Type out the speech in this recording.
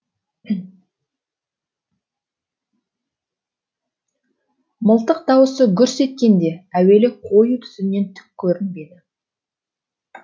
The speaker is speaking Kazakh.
мылтық дауысы гүрс еткенде әуелі қою түтіннен түк көрінбеді